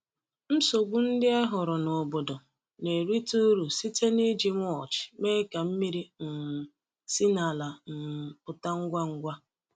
Nsogbu ndị e hụrụ n’obodo na-erite uru site n’iji mulch mee ka mmiri um si n’ala um pụta ngwa ngwa.